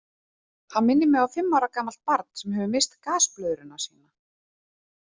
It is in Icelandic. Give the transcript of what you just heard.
Hann minnir mig á fimm ára gamalt barn sem hefur misst gasblöðruna sína.